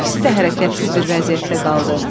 İkisi də hərəkətsiz bir vəziyyətdə qaldı.